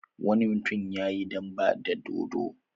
Wani mutum ya yi dambe da dodo.